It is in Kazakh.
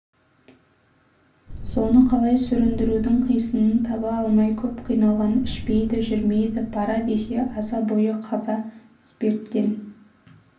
соны қалай сүріндірудің қисынын таба алмай көп қиналған ішпейді жүрмейді пара десе аза бойы қаза спирттен